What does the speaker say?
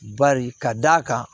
Bari ka d'a kan